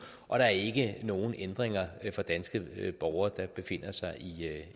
og der er ikke nogen ændringer for danske borgere der befinder sig